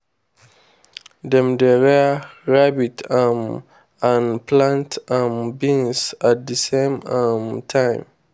dem dey rear rabbit um and plant um beans at the same um time.